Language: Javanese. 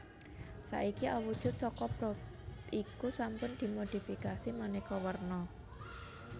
Saiki awujud saka probe iku sampun dimodifikasi manèka warna